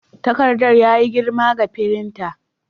Takardar ya yi girma ga firinta.